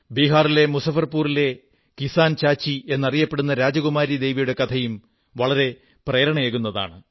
ബിഹാറിലെ മുസഫർപൂരിലെ കിസാൻ ചാചി എന്നറിയപ്പെടുന്ന രാജുകുമാരീ ദേവിയുടെ കഥയും വളരെ പ്രേരണയേകുന്നതാണ്